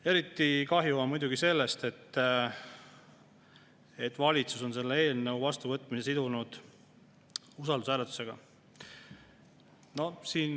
Eriti kahju on muidugi sellest, et valitsus on selle eelnõu vastuvõtmise sidunud usaldushääletusega.